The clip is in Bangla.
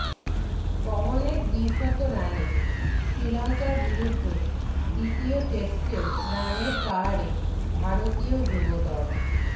পবনের দ্বিশত রানে শ্রীলঙ্কার বিরুদ্ধে দ্বিতীয় টেস্টেও রানের পাহাড়ে ভারতীয় যুব দল